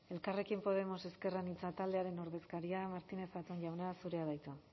elkarrekin podemos ezker anitza taldearen ordezkaria martínez zatón jauna zurea da hitza